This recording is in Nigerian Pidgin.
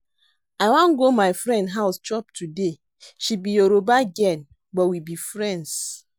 I wan go my friend house chop today. She be Yoruba girl but we be friends